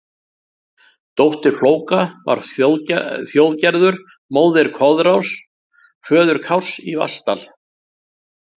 Dóttir Flóka var Þjóðgerður, móðir Koðráns, föður Kárs í Vatnsdal.